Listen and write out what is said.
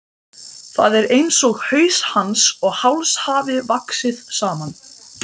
Það er einsog haus hans og háls hafi vaxið saman.